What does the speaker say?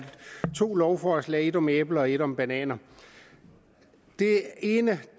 to lovforslag ét om æbler og ét om bananer den ene